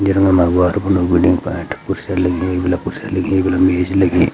गेरना मा वार बोनु वेडिंग पॉइंट कुर्सियां लगी एक बिला कुर्सियां लगी एक बिला मेज लगीं।